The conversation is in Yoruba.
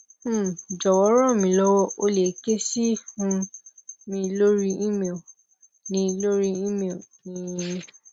um jọwọ ranmilowo o le ke si um mi lori email ni lori email ni um